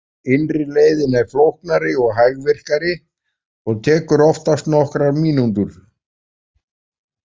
Innri leiðin er flóknari og hægvirkari og tekur oftast nokkrar mínútur.